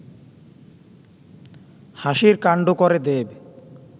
হাসির কাণ্ড করে দেব